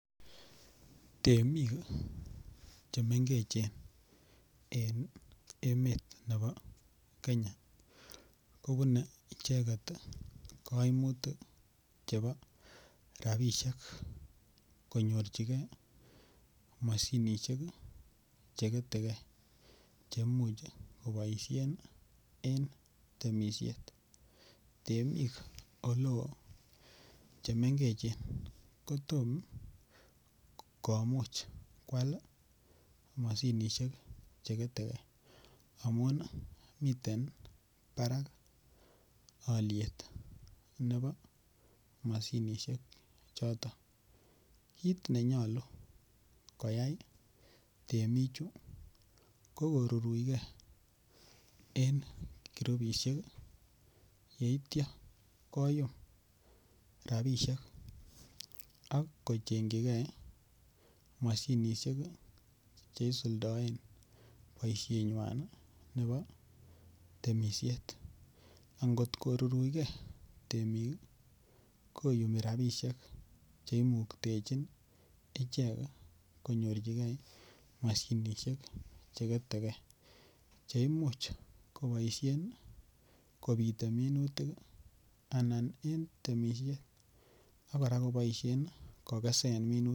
Temik chemengechen en emet nebo Kenya kobune icheket koimutik chebo rabishek konyorjigee moshinishek cheketekee cheimuch koboishen en temishet, temik oleo chemengechen kotom komuch kwal moshinishek cheketekee amun miten oliet nebo moshinishek choton kinenyolu koyai temichu kokoruruikee en groupishek yeitio koyum rabishek ak kochengjikee moshinishek cheisuldoen boishenywan nebo temishet, angot koruruikee temik koyumi rabishek cheimuktechin icheket konyorjigee moshinishek cheketekee cheimuch koboishen kobite minutik anan en temishek ak koraa koboishen kokesen minutik.